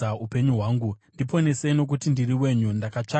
Ndiponesei, nokuti ndiri wenyu; ndakatsvaka zvamakatema.